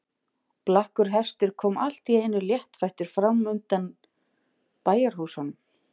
Blakkur hestur kom allt í einu léttfættur fram undan bæjarhúsunum.